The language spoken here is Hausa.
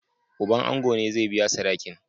Uban ango ne zai biya sadakin.